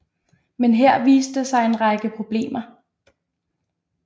Men her viste der sig en række problemer